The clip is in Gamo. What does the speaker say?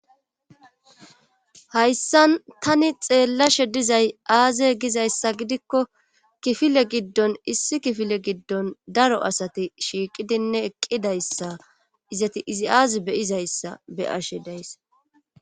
hayssan tani xeellashe dizay aaze gizayssa gidikko kifile giddon issi kifile giddon daro asati shiiqidinne eqqidayssa izati izi aazi beyizayssa beyashe dayssa